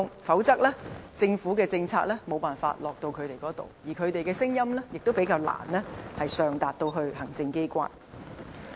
否則，政府的政策無法落到他們身上，而他們的聲音亦會較難上達行政機關。